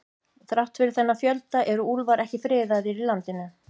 Þrátt fyrir þennan fjölda eru úlfar ekki friðaðir í landinu.